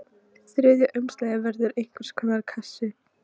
Þriðja umslagið verður einhvers konar kassi.